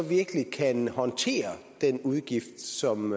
virkelig kan håndtere den udgift som